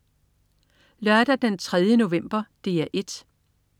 Lørdag den 3. november - DR 1: